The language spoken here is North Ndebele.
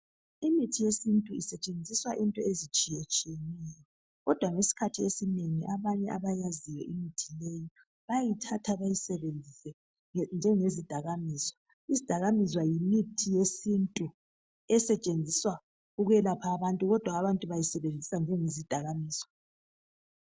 Imithi yesintu isetshenziswa izinto ezitshiyeneyo. Kodwa ngesikhathi esinengi abanye abayaziyo imithi leyi bayayithatha bayisebenzise njengezidakamizwa. Izidakamizwa yimithi yesintu esetshenziswa ukwelapha abantu kodwa abantu bayasebenzisa njengezidakamizwa